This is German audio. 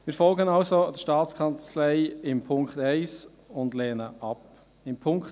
Wir folgen also der Staatskanzlei beim Punkt 1 und lehnen diesen ab.